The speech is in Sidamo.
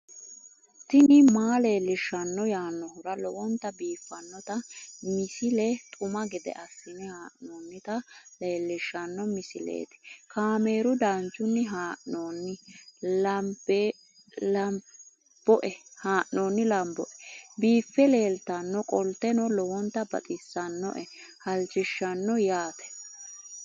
tini maa leelishshanno yaannohura lowonta biiffanota misile xuma gede assine haa'noonnita leellishshanno misileeti kaameru danchunni haa'noonni lamboe biiffe leeeltannoqolten lowonta baxissannoe halchishshanno yaate